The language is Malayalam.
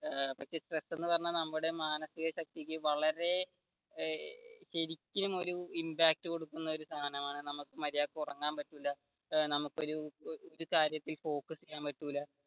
ഏർ സ്ട്രെസ് എന്ന് പറഞ്ഞ നമ്മുടെ മാനസിക ശക്തിക്ക് വളരെ ശരിക്കും ഒരു impact കൊടുക്കുന്ന സാധനമാണ് നമുക്ക് മര്യാദക്ക് ഉറങ്ങാൻ പറ്റില്ല നമുക്ക് focus ചെയ്യാൻ പറ്റില്ല